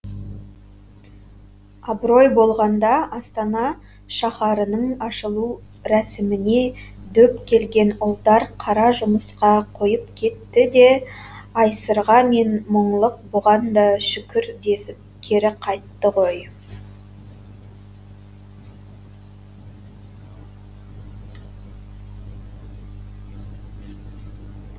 абырой болғанда астана шаһарының ашылу рәсіміне дөп келген ұлдар қара жұмысқа қойып кетті де айсырға мен мұңлық бұған да шүкір десіп кері қайтты ғой